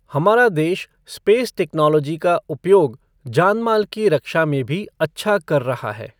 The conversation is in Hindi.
हमारा देश, स्पेस टेक्नोलॉजी का उपयोग जानमाल की रक्षा में भी अच्छा कर रहा है।